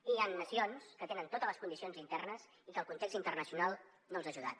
i hi han nacions que tenen totes les condicions internes i que el context internacional no els ha ajudat